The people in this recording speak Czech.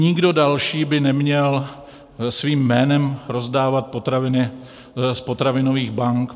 Nikdo další by neměl svým jménem rozdávat potraviny z potravinových bank.